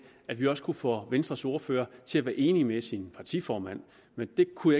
at vi også kunne få venstres ordfører til at være enig med sin partiformand men det kunne